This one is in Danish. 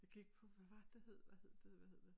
Jeg gik på hvad var det det hed hvad hed det hvad hed det